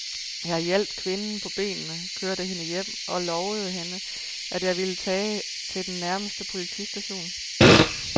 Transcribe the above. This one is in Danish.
Jeg hjalp kvinden på benene, kørte hende hjem og lovede hende, at jeg ville tage til den nærmeste politistation.